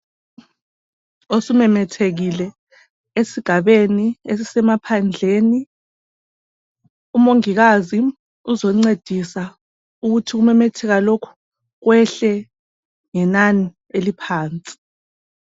Osumemethekile esigabeni esisemephandleni, umongikazi uzoncedisa ukuthi ukumemetheka lokhu kwehle ngenani eliphansi.